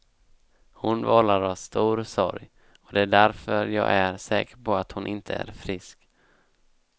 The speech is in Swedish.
Hon vållar oss stor sorg, och det är därför jag är säker på att hon inte är frisk.